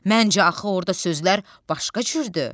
Məncə axı orda sözlər başqa cürdür.